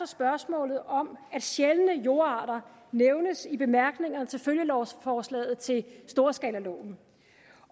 spørgsmålet om at sjældne jordarter nævnes i bemærkningerne til følgelovforslaget til storskalaloven